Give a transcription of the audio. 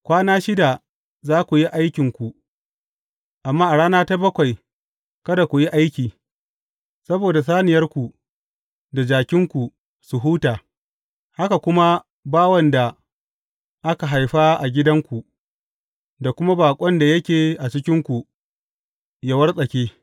Kwana shida za ku yi aikinku, amma a rana ta bakwai, kada ku yi aiki, saboda saniyarku da jakinku su huta, haka kuma bawan da aka haifa a gidanku, da kuma baƙon da yake a cikinku yă wartsake.